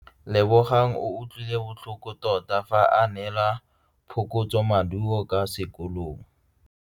Lebogang o utlwile botlhoko tota fa a neelwa phokotsomaduo kwa sekolong.